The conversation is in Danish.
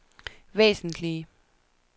væsentlige